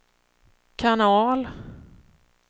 kanal